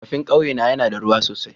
Rafin kawye na yana da ruwa sosai.